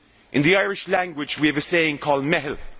In the Irish language we have a saying called meitheal